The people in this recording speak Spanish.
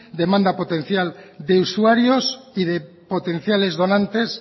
demanda potencial de usuarios y de potenciales donantes